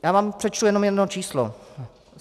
Já vám přečtu jenom jedno číslo.